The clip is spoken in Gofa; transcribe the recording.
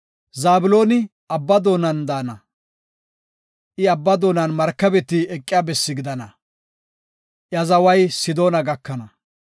“Zabloni abba doonan daana; I abba doonan markabeti eqiya bessi gidana; iya zaway Sidoona gakana.